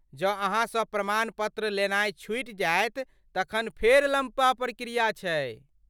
जँ अहाँसँ प्रमाण पत्र लेनाय छूटि जायत तखन फेर लम्बा प्रक्रिया छै।